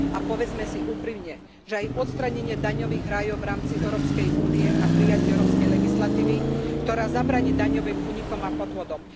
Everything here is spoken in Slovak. A povedzme si úprimne, že aj odstránenie daňových rajov v rámci Európskej únie a prijatie európskej legislatívy, ktorá zabráni daňovým únikom a podvodom.